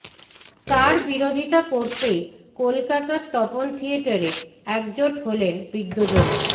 তার বিরোধিতা করতেই কলকাতার তপন থিয়েটারে একজোট হলেন বিদ্বজনেরা